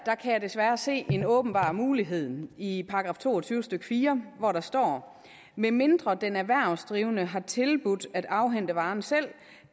jeg desværre se en åbenbar mulighed i § to og tyve stykke fire hvor der står medmindre den erhvervsdrivende har tilbudt at afhente varen selv